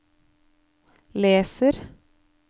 leser